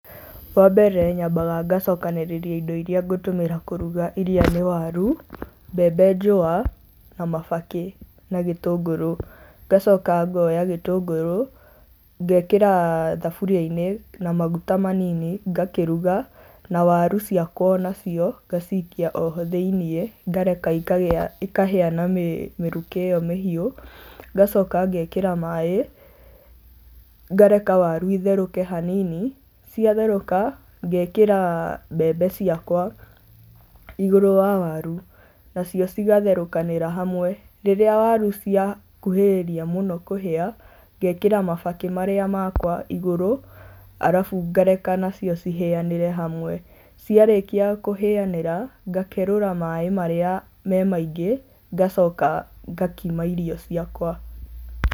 Wambere nyambaga ngacokanĩrĩria indo iria ngũtũmĩra kũruga, iria nĩ waru, mbembe njũa, na mabakĩ na gĩtũngũrũ. Ngacoka ngoya gĩtũngũrũ, ngekĩra thaburia-inĩ, na maguta manini ngakĩruga, na waru cikwa onacio, ngacikia oho thĩiniĩ, ngareka ikahĩa na mĩrukĩ ĩyo mĩhiũ, ngacoka ngekĩra maaĩ ngareka waru itherũke hanini, ciatherũka ngekĩra mbembe ciakwa igũrũ wa waru, nacio cigatherũkanĩra hamwe. Rĩrĩa waru ciakuhĩrĩria mũno kũhĩa, ngekĩra mabakĩ marĩa makwa igũrũ, arabu ngareka nacio cihĩanĩre hamwe. Ciarĩkia kũhĩanĩra, ngakerũra maaĩ marĩa me maingĩ, ngacoka ngakima irio ciakwa.